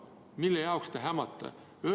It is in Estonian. Mille jaoks te hämate?